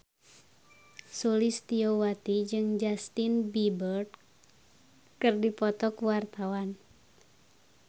Sulistyowati jeung Justin Beiber keur dipoto ku wartawan